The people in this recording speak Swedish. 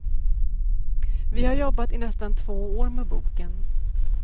Vi har jobbat i nästan två år med boken.